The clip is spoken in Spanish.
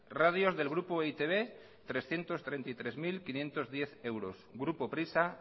radios del grupo e i te be trescientos treinta mil quinientos diez euros grupo prisa